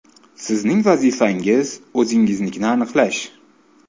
Sizning vazifangiz – o‘zingiznikini aniqlash.